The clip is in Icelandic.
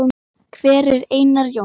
Hver er Einar Jónsson?